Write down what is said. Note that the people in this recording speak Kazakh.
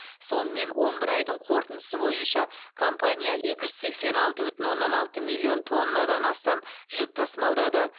сонымен он бір айдың қорытындысы бойынша компания екі жүз сексен алты бүтін оннан алты миллион тоннадан астам жүк тасымалдады